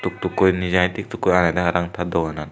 tookkoi indijai tik took koi agedey ta doganan.